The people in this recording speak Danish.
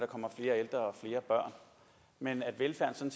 kommer flere ældre og flere børn men at velfærden